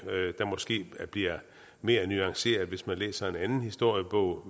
der måske bliver mere nuanceret hvis man læser en anden historiebog